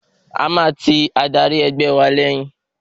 A máa ti adarí ẹgbẹ́ wa lẹ́yìn.